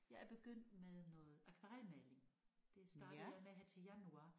Jeg er begyndt med noget akvarelmaling. Det startede jeg med her til januar